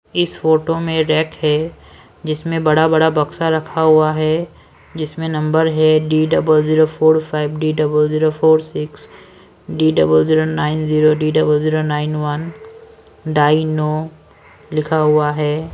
इस फोटो में रैक है जिसमें बड़ा बड़ा बक्सा रखा हुआ है जिसमें नंबर है D double zero four five D double zero four six D double zero nine zero D double zero nine one die no लिखा हुआ है।